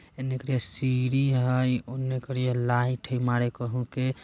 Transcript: इनिकरी सिरी है ओने करिया लाइट मरेका होके